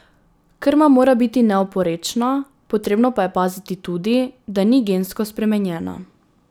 Krma mora biti neoporečna, potrebno pa je paziti tudi, da ni gensko spremenjena.